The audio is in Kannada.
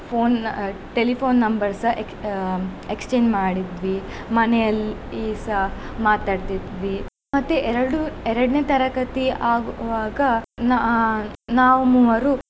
Phone ಆ telephone number ಸ ex~ ಆ exchange ಮಾಡೀದ್ವಿ ಮನೆಯಲ್ಲಿಸ ಮಾತಾಡ್ತಿದ್ವಿ ಮತ್ತೆ ಎರಡು ಎರಡನೇ ತರಗತಿ ಆಗುವಾಗ ನಾ~ ನಾವ್ ಮೂವರು.